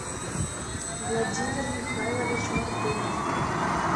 владимир михайлович мартынов